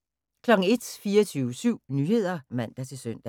01:00: 24syv Nyheder (man-søn)